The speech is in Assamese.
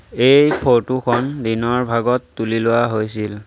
এই ফটো খন দিনৰ ভাগত তুলি লোৱা হৈছিল।